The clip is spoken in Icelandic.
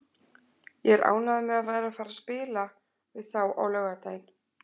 Ég er ánægður með að vera að fara að spila við þá á laugardaginn.